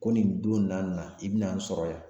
Ko nin don na na i bɛna n sɔrɔ yan